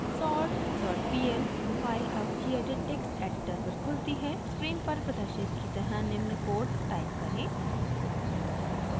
sortpl file अब gedit text editor पर खुलती है स्क्रीन पर प्रदर्शित की तरह निम्न कोड टाइप करें